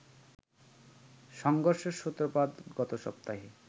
সংঘর্ষের সূত্রপাত গত সপ্তাহে